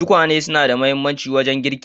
Tukwane suna da mahimmanci wajen girki.